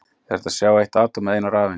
Er hægt að sjá eitt atóm eða eina rafeind?